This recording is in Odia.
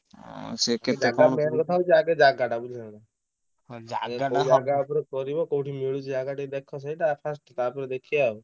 ଜାଗା ଉପରେ କରିବ କଉଠି ମିଳୁଛି ଜାଗା ଟିକେ ଦେଖ ସେଇଟା first ତାପରେ ଦେଖିବା ଆଉ।